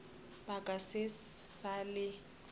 ba ka se sa le